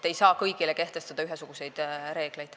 Ei saa kõigile kehtestada ühesuguseid reegleid.